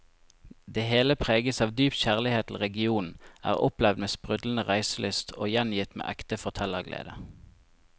Det hele preges av dyp kjærlighet til regionen, er opplevd med sprudlende reiselyst og gjengitt med ekte fortellerglede.